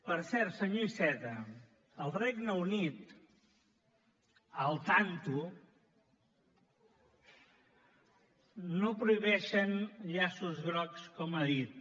per cert senyor iceta al regne unit al tanto no prohibeixen llaços grocs com ha dit